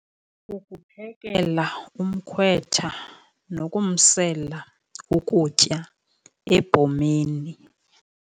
Ukuphekela umkhwetha nokumsela ukutya ebhomeni.